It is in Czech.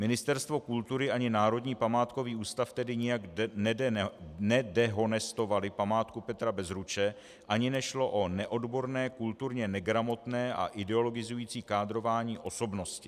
Ministerstvo kultury ani Národní památkový ústav tedy nijak nedehonestovaly památku Petra Bezruče ani nešlo o neodborné, kulturně negramotné a ideologizující kádrování osobnosti.